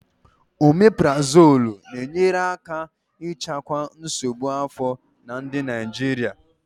Omeparazolu na-enyere aka ịchịkwa nsogbu afọ na ndị Naijiria.